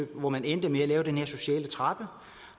hvor man endte med at lave den her sociale trappe